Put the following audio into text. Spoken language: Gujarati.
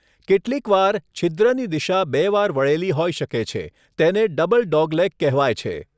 કેટલીકવાર, છિદ્રની દિશા બે વાર વળેલી હોઈ શકે છે તેને 'ડબલ ડોગલેગ' કહેવાય છે.